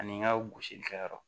Ani n ka gosilikɛyɔrɔ